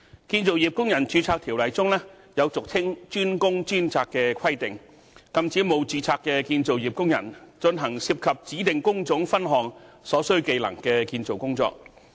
《建造業工人註冊條例》中有俗稱"專工專責"的規定，禁止沒有註冊的建造業工人進行涉及指定工種分項所需技能的建造工作。